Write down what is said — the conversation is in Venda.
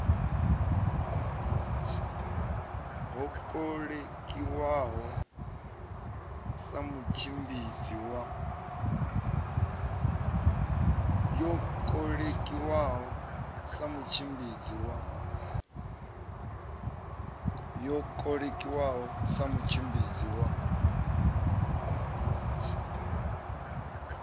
yo kolekiwaho sa mutshimbidzi wa